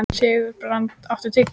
Sigurbrandur, áttu tyggjó?